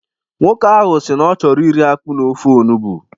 Nwoke ahu si na ọ chọrọ iri akpụ na ofe olugbu.